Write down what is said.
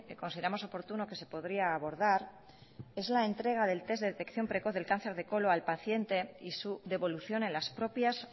consideremos oportuno que se podría abordar es la entrega del test de detección precoz del cáncer de colón al paciente y su devolución en las propias